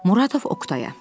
Muradov Oqtaya.